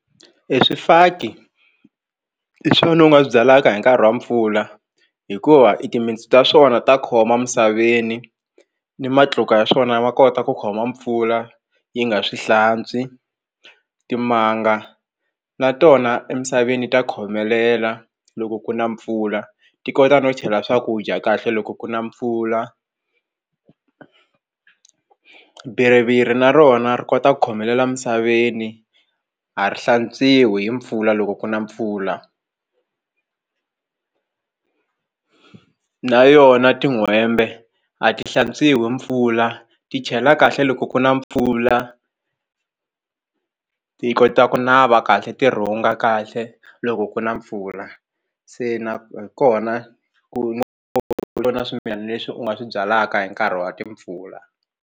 Eswifaki hi swona u nga swi byalaka hi nkarhi wa mpfula hikuva i timintsu ta swona ta khoma emisaveni ni matluka ya swona ma kota ku khoma mpfula yi nga swi hlantswi timanga na tona emisaveni ta khomelela loko ku na mpfula ti kota no chela swakudya kahle loko ku na mpfula biriviri na rona ri kota ku khomelela emisaveni a ri hlantswiwi hi mpfula loko ku na mpfula na yona tin'hwembe a ti hlantswiwi mpfula ti chela kahle loko ku na mpfula ti kota ku nava kahle ti rhunga kahle loko ku na mpfula se hi kona ku na swimilana leswi u nga swi byalaka hi nkarhi wa timpfula.